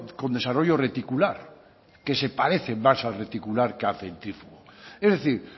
con desarrollo reticular que se parece más al reticular que al centrífugo es decir